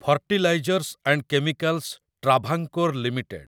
fertilizers and Chemicals Travancore limited